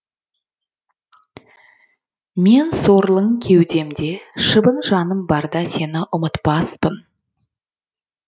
мен сорлың кеудемде шыбын жаным барда сені ұмытпаспын